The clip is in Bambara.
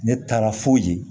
Ne taara fo yen